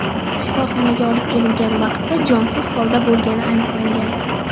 shifoxonaga olib kelingan vaqtda jonsiz holda bo‘lgani aniqlangan.